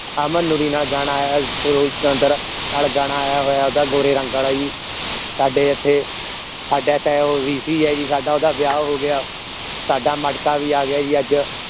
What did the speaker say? ਅਮਨ ਲੋਹੜੀ ਨਾਲ ਗਾਣਾ ਆਯਾ ਹੋਇਆ ਸਰੂਲ ਸਿਕੰਦਰ ਨਾਲ ਗਾਣਾ ਆਇਆ ਹੋਇਆ ਓਹਦਾ ਗੋਰੇ ਰੰਗ ਆਲਾ ਜੀ ਸਾਡੇ ਇਥੇ ਸਾਡਾ ਤਾਯਾ ਹੈ ਜੀ V. C. ਸਾਡਾ ਓਹਦਾ ਵਿਆਹ ਹੋ ਗਿਆ ਸਾਡਾ ਮਟਕਾ ਵੀ ਆ ਗਿਆ ਜੀ ਅੱਜ